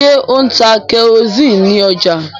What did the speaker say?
ṣe O ń tá kerosiini ní ọjà?